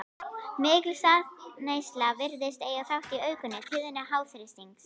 Mikil saltneysla virðist eiga þátt í aukinni tíðni háþrýstings.